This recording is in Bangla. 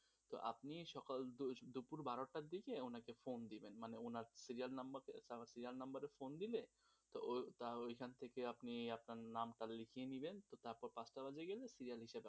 তো আপনি সকাল দুপুর বারো টা থেকে উনাকে phone দিবেন মানে উনার serial number serial number এ phone দিলে তো ওইখান থেকে আপনি যে আপনার নামটা লিখিয়ে নিলেন তারপর পাঁচটা বাজে গেলে serial